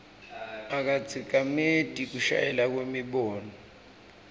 akatsikameti kushelela kwemibono